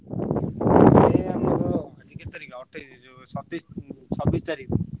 ଏଇ ଆମର ଆଜି କେତେ ତାରିଖ ଅଠେଇଶ ସତେଇଶ ଚବିଶ ତାରିଖ ବେଳକୁ।